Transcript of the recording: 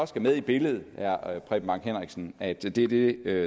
skal med i billedet at det er det